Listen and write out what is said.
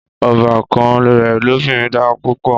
Ọbàkan rẹ̀ lọ́binrin dára púpọ̀